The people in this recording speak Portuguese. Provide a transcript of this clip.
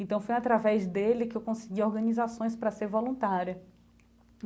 Então foi através dele que eu consegui organizações para ser voluntária.